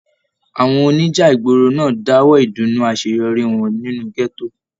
Àwọn oníjà ìgboro náà dáwọ ìdùnnú àṣeyọrí wọn nínú gẹto.